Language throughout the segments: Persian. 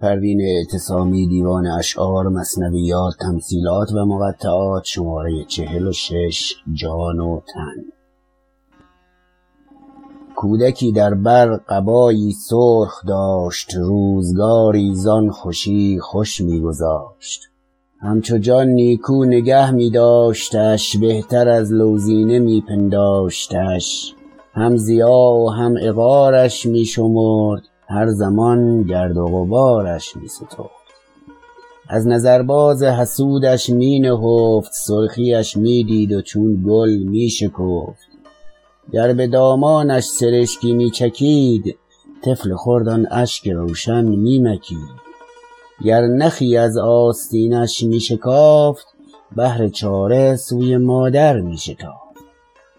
کودکی در بر قبایی سرخ داشت روزگاری زان خوشی خوش میگذاشت همچو جان نیکو نگه میداشتش بهتر از لوزینه می پنداشتش هم ضیاع و هم عقارش می شمرد هر زمان گرد و غبارش می سترد از نظر باز حسودش می نهفت سرخی اش میدید و چون گل میشکفت گر بدامانش سرشکی میچکید طفل خرد آن اشک روشن میمکید گر نخی از آستینش میشکافت بهر چاره سوی مادر میشتافت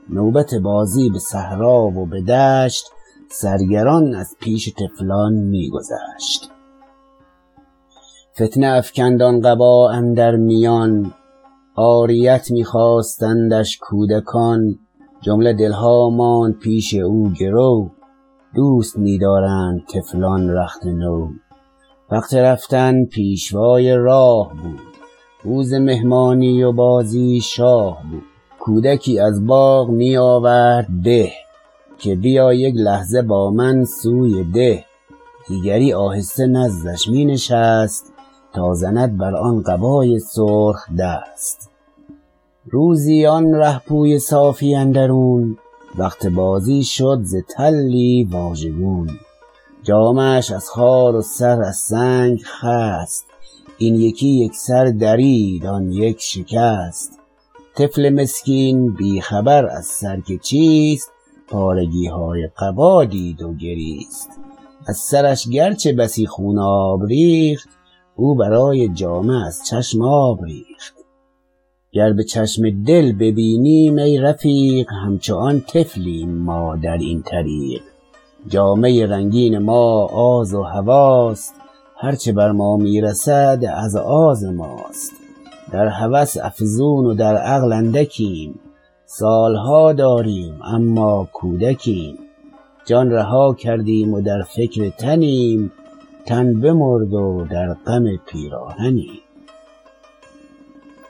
نوبت بازی بصحرا و بدشت سرگران از پیش طفلان میگذشت فتنه افکند آن قبا اندر میان عاریت میخواستندش کودکان جمله دلها ماند پیش او گرو دوست میدارند طفلان رخت نو وقت رفتن پیشوای راه بود روز مهمانی و بازی شاه بود کودکی از باغ می آورد به که بیا یک لحظه با من سوی ده دیگری آهسته نزدش می نشست تا زند بر آن قبای سرخ دست روزی آن رهپوی صافی اندرون وقت بازی شد ز تلی واژگون جامه اش از خار و سر از سنگ خست این یکی یکسر درید آن یک شکست طفل مسکین بی خبر از سر که چیست پارگیهای قبا دید و گریست از سرش گرچه بسی خوناب ریخت او برای جامه از چشم آب ریخت گر بچشم دل ببینیم ای رفیق همچو آن طفلیم ما در این طریق جامه رنگین ما آز و هوی است هر چه بر ما میرسد از آز ماست در هوس افزون و در عقل اندکیم سالها داریم اما کودکیم جان رها کردیم و در فکر تنیم تن بمرد و در غم پیراهنیم